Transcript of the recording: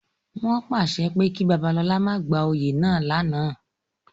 Wọn paṣẹ ki Babalola ma gba oyè náa lánàá!